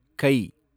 கை